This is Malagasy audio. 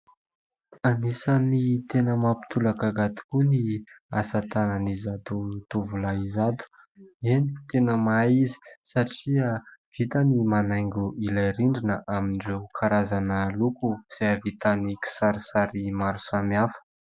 Anisany tena mampitolagaga tokoa ny asa tanan'izato zatovolahy izato, eny, tena mahay izy satria vitany ny manaingo ilay rindrina amin'ireo karazana loko izay ahavitany kisarisary maro samihafa.